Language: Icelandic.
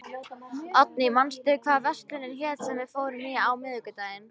Oddný, manstu hvað verslunin hét sem við fórum í á miðvikudaginn?